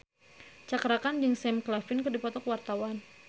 Cakra Khan jeung Sam Claflin keur dipoto ku wartawan